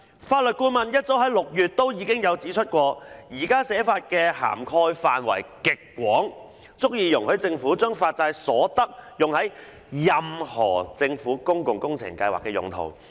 法律顧問早於6月已經指出，現時的寫法涵蓋範圍極廣，足以容許政府將發債所得用於任何政府公共工程計劃的用途。